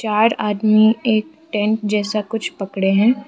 चार आदमी एक टेंट जैसा कुछ पकड़े हैं।